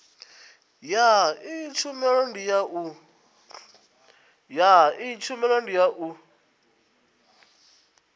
ya iyi tshumelo ndi u